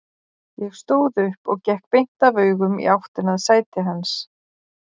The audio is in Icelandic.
Ég stóð upp og gekk beint af augum í áttina að sæti hans.